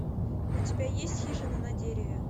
у тебя есть хижина на дереве